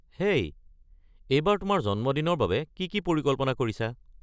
হেই, এইবাৰ তোমাৰ জন্মদিনৰ বাবে কি কি পৰিকল্পনা কৰিছা?